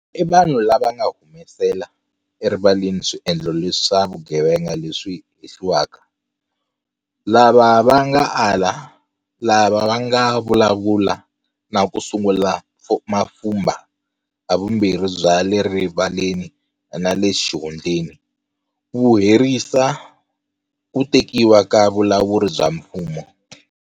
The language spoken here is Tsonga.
I vanhu lava va nga humesela erivaleni swiendlo leswa vugevenga leswi hehliwaka, lava va nga ala, lava va nga vulavula na ku sungula mapfhumba - havumbirhi bya le rivaleni na le xihundleni - ku herisa ku tekiwa ka vulawuri bya mfumo.